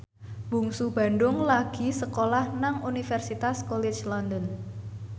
Bungsu Bandung lagi sekolah nang Universitas College London